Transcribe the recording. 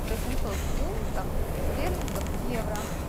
восемьсот фунтов стерлингов в евро